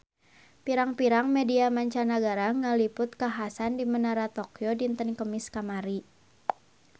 Pirang-pirang media mancanagara ngaliput kakhasan di Menara Tokyo dinten Kemis kamari